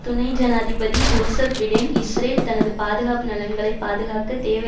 துணை ஜனாதிபதி Joseph Biden Israel தனது பாதுகாப்பு நலன்களை பாதுகாக்க தேவை